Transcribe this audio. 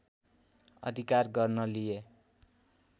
अधिकार गर्न लिए